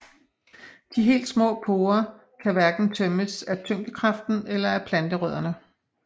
De helt små porer kan hverken tømmes af tyngdekraften eller af planterødderne